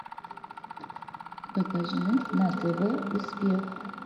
покажи на тв успех